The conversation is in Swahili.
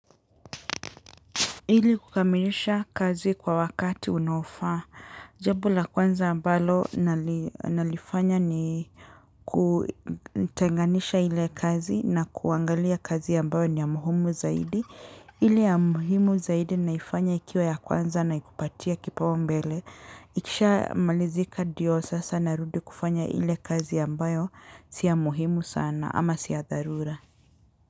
Hili kukamilisha kazi kwa wakati unaofa. Jambo la kwanza ambalo nalifanya ni kutenganisha ile kazi na kuangalia kazi ambayo ni ya muhimu zaidi. Ile ya muhimu zaidi naifanya ikiwa ya kwanza na ikupatie kipaumbele. Ikishamalizika ndio sasa narudi kufanya ile kazi ambayo si ya muhimu sana ama si ya dharura.